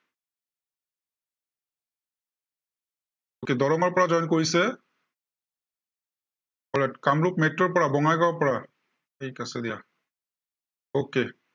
okay দৰঙৰ পৰা join কৰিছে আহ কামৰূপ metro ৰ পৰা, বঙাইগাঁৱৰ পৰা, ঠিক আছে দিয়া। okay